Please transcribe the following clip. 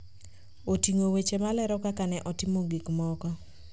oting'o weche malero kaka ne otimo gik moko